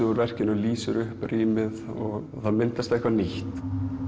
verkinu lýsir upp rýmið og það myndast eitthvað nýtt